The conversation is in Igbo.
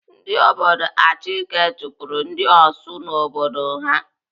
Ndị obodo Achike chụpụrụ ndị Osu n'obodo ha.